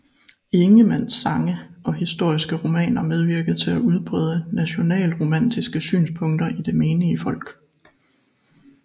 Ingemanns sange og historiske romaner medvirkede til at udbrede nationalromantiske synspunkter i det menige folk